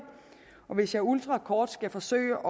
hvis jeg ultrakort skal forsøge